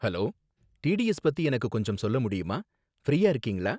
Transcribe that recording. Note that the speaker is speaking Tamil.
ஹலோ, டிடிஎஸ் பத்தி எனக்கு கொஞ்சம் சொல்ல முடியுமா ஃப்ரீயா இருக்கீங்களா